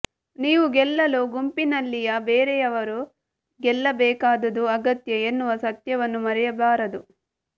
ನೀವು ಗೆಲ್ಲಲು ಗುಂಪಿನಲ್ಲಿಯ ಬೇರೆಯವರೂ ಗೆಲ್ಲಬೇಕಾದುದು ಅಗತ್ಯ ಎನ್ನುವ ಸತ್ಯವನ್ನು ಮರೆಯಬಾರದು